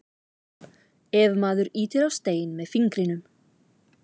ef maður ýtir á stein með fingrinum